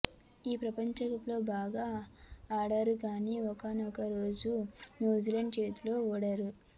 ఈ ప్రపంచకప్లో బాగా ఆడారు కానీ ఒకానొక రోజు న్యూజిలాండ్ చేతిలో ఓడారు